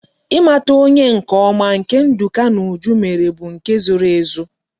I mata onye nke oma nke nduka na uju mere bu nke e zoro ezo